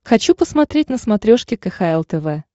хочу посмотреть на смотрешке кхл тв